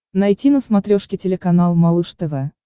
найти на смотрешке телеканал малыш тв